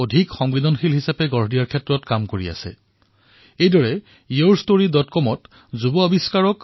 মই জানি সন্তোষিত হৈছোঁ যে আজিকালি এনেকুৱা বহু ৱেবছাইট আছে যত বিলক্ষণ লোকৰ জীৱনৰ পৰা প্ৰেৰণা পোৱা কাহিনীৰ সৈতে আমাক পৰিচিত কৰে